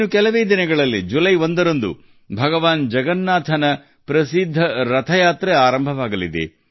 ಇನ್ನು ಕೆಲವೇ ದಿನಗಳಲ್ಲಿ ಜುಲೈ 1 ರಂದು ಜಗನ್ನಾಥ ದೇವರ ಪ್ರಸಿದ್ಧ ಯಾತ್ರೆ ಆರಂಭವಾಗಲಿದೆ